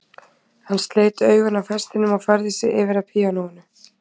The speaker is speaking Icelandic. Hann sleit augun af hestinum og færði sig yfir að píanóinu.